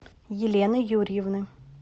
елены юрьевны